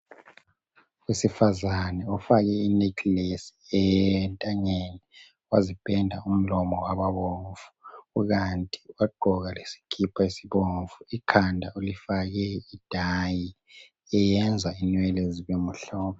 Owesifazane ofake inekilesi entanyeni wazipenda umlomo wababomvu kukanti wagqoka lesikipa esibomvu ikhanda ulifake idayi eyenza inwele zibemhlophe.